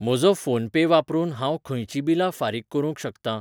म्हजो फोनपे वापरून हांव खंयचीं बिलां फारीक करूंक शकतां?